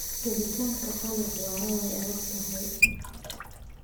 Helitaanka qalabka waraabka waa adag tahay.